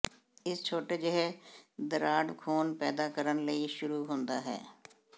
ਇਸ ਛੋਟੇ ਜਿਹੇ ਦਰਾੜ ਖੂਨ ਪੈਦਾ ਕਰਨ ਲਈ ਸ਼ੁਰੂ ਹੁੰਦਾ ਹੈ